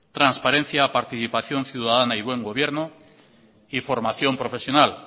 transparencia participación ciudadana y buen gobierno y formación profesional